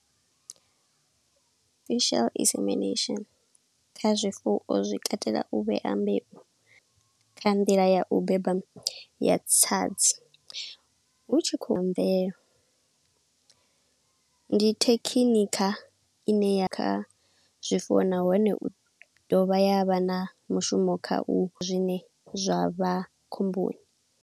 Artificial insemination kha zwifuwo zwi katela u vhea mbeu kha nḓila ya u beba ya tsadzi, hu tshi khou mvela. Ndi thekhinikha ine ya kha zwifuwo nahone u ḓovha yavha na mushumo kha u zwine zwa vha khomboni.